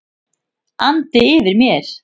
andi yfir mér.